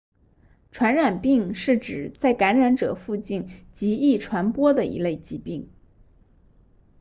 传染病是指在感染者附近极易传播的一类疾病